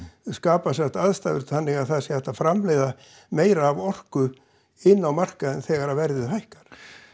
skapa sem sagt aðstæður þannig að það sé hægt að framleiða meira af orku inn á markaðinn þegar að verðið hækkar